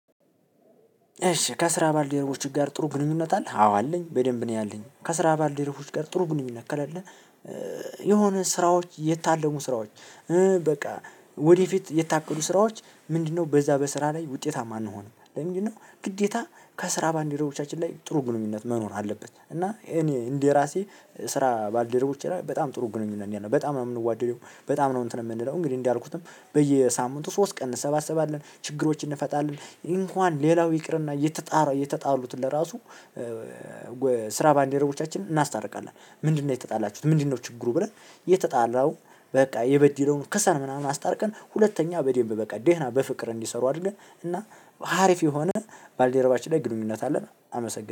እሺ ከስራ ባልደረቦች ጋር ጥሩ ግንኙነት አለህ? አዎ አለኝ። በደንብ እኔ አለኝ ከስራ ባልደረቦች ጋር ጥሩ ግንኙነት ከሌለ የሆነ ስራዎች የታለሙ ስራዎች። በቃ ወደፊት የታቀዱ ስራዎች ምንድነው? በዛ በስራ ላይ ውጤታማ እንሆን? ለምንድነው ግዴታ ከስራ ባልደረቦቻችን ላይ ጥሩ ግንኙነት መኖር አለበት? እና እኔ እንደራሴ ስራ ባልደረቦቼ ጋር በጣም ጥሩ ግንኙነት ነው። በጣም ነው የምንዋደደው በጣም እንትን የምንለው እንግዲህ እንዳልኩትም በየሳምንቱ ሶስት ቀን እንሰባሰባለን ችግሮችን እንፈታለን። እንኳን ሌላው ይቅርና እየተጣሉ እየተጣሉት ለራሱ ስራ ባልደረቦቻችን እናስታርቃለን። ምንድነው የተጣላችሁት? ምንድነው ችግሩ? ብለን የተጣላው በቃ የበድለውን ክሰን ምናምን አስታርቀን። ሁለተኛ በደምብ በቃ ደህና በፍቅር እንዲሰሩ አድርገን እና አሪፍ የሆነ ባልደረባችን ላይ ግንኙነት አለን። አመሰግናለው